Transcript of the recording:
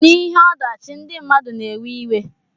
Na ihe odachi ndi mmadu na ewe iwe.